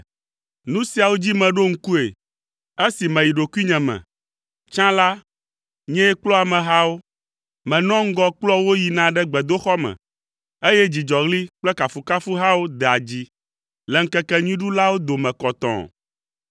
Nu siawo dzi meɖo ŋkue esi meyi ɖokuinye me. Tsã la, nyee kplɔa amehawo; menɔa ŋgɔ kplɔa wo yina ɖe gbedoxɔ me, eye dzidzɔɣli kple kafukafuhawo dea dzi le ŋkekenyuiɖulawo dome kɔtɔɔ.